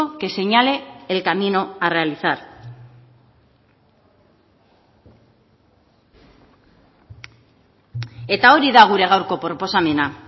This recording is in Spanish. que señale el camino a realizar eta hori da gure gaurko proposamena